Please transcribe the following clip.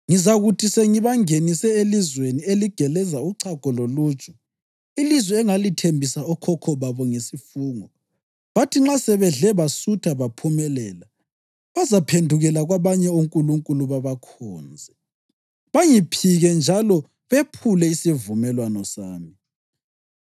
Ngizakuthi sengibangenise elizweni eligeleza uchago loluju, ilizwe engalithembisa okhokho babo ngesifungo, bathi nxa sebedle basutha baphumelela, bazaphendukela kwabanye onkulunkulu babakhonze, bangiphike njalo bephule isivumelwano sami.